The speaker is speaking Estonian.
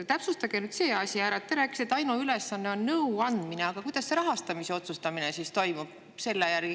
Täpsustage see asi ära: te rääkisite, et ainuülesanne on nõu andmine, aga kuidas selle järgi siis rahastamise otsustamine toimub?